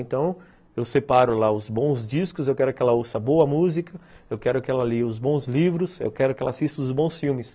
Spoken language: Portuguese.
Então, eu separo lá os bons discos, eu quero que ela ouça boa música, eu quero que ela leia os bons livros, eu quero que ela assista os bons filmes.